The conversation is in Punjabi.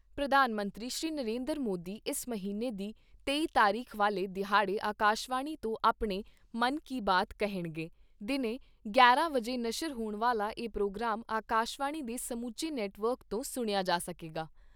ਪ੍ਰਧਾਨ ਮੰਤਰੀ ਸ਼੍ਰੀ ਨਰਿੰਦਰ ਮੋਦੀ ਇਸ ਮਹੀਨੇ ਦੀ ਤੇਈ ਤਾਰੀਖ ਵਾਲੇ ਦਿਹਾੜੇ ਅਕਾਸ਼ਵਾਣੀ ਤੋਂ ਆਪਣੇ ' ਮਨ ਕੀ ਬਾਤ ਕਹਿਣਗੇ। ਦਿਨੇ ਗਿਆਰਾਂ ਵਜੇ ਨਸ਼ਰ ਹੋਣ ਵਾਲਾ ਇਹ ਪ੍ਰੋਗਰਾਮ ਅਕਾਸ਼ਵਾਣੀ ਦੇ ਸਮੁੱਚੇ ਨੈਟਵਰਕ ਤੋਂ ਸੁਣਿਆ ਜਾ ਸਕੇਗਾ।